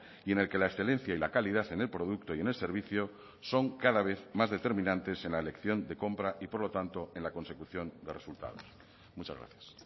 y en el que la excelencia y la calidad en el producto y en el servicio son cada vez más determinantes en la elección de compra y por lo tanto en la consecución de resultados muchas gracias